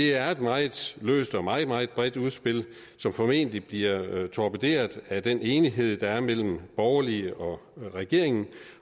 er et meget løst og meget meget bredt udspil som formentlig bliver torpederet af den enighed der er mellem de borgerlige og regeringen